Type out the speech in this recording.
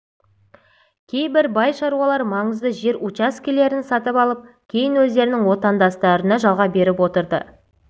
кейбір бай шаруалар маңызды жер учаскелерін сатып алып кейін өздерінің отандастарына жалға беріп отырды